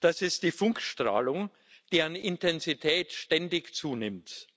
Das ist die Funkstrahlung, deren Intensität ständig zunimmt.